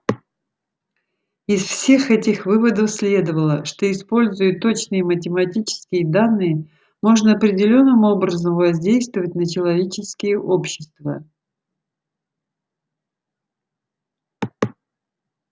из всех этих выводов следовало что используя точные математические данные можно определённым образом воздействовать на человеческие общества